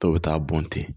Dɔw bɛ taa bɔn ten